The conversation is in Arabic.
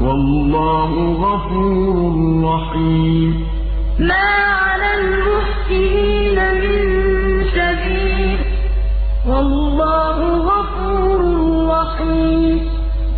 وَاللَّهُ غَفُورٌ رَّحِيمٌ لَّيْسَ عَلَى الضُّعَفَاءِ وَلَا عَلَى الْمَرْضَىٰ وَلَا عَلَى الَّذِينَ لَا يَجِدُونَ مَا يُنفِقُونَ حَرَجٌ إِذَا نَصَحُوا لِلَّهِ وَرَسُولِهِ ۚ مَا عَلَى الْمُحْسِنِينَ مِن سَبِيلٍ ۚ وَاللَّهُ غَفُورٌ رَّحِيمٌ